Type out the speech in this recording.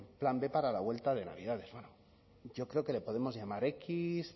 plan b para la vuelta de navidades bueno yo creo que le podemos llamar equis